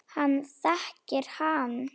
Hann þekkir hann.